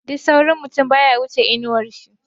Duk saurin mutum baya wuce inawar shi ba.